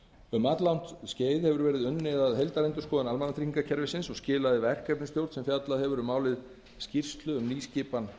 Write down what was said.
um alllangt skeið hefur verið unnið að heildarendurskoðun almannatryggingakerfisins og skilaði verkefnisstjórn sem fjallað hefur um málið skýrslu um nýskipan